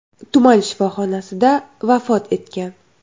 tuman shifoxonasida vafot etgan.